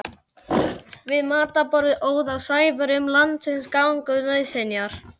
Við matarborðið óð á Sævari um landsins gagn og nauðsynjar.